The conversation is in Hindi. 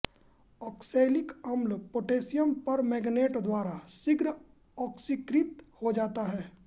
आक्सैलिक अम्ल पोटैशियम परमैंगनेट द्वारा शीघ्र आक्सीकृत हो जाता है